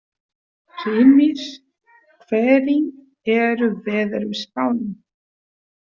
Hrímnir, hvernig er veðurspáin?